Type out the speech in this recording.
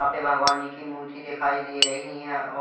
अपने भगवान जी की मूर्ति दिखाई दे रही हैं और--